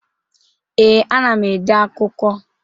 Ee, ana m ede akụkọ.